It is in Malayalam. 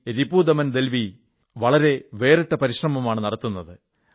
രിപുദമൻ ദൽവി വളരെ വേറിട്ട പരിശ്രമമാണ് നടത്തുന്നത്